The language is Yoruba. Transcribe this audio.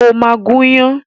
O ma gún iyán